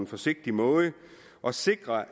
forsigtig måde og sikrer